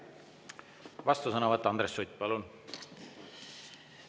Vastusõnavõtt, Andres Sutt, palun!